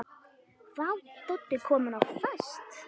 Vá, Doddi kominn á fast!